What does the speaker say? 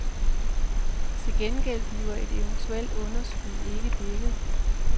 Til gengæld bliver et eventuelt underskud ikke dækket.